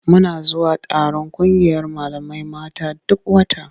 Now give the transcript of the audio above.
Muna zuwa taron ƙungiyar malamai mata duk wata.